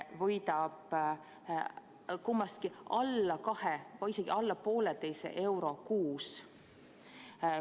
– võidab kummastki alla kahe või isegi alla poolteise euro kuus.